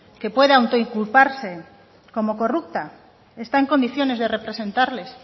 que pueda autoinculparse como corrupta está en condiciones de representarles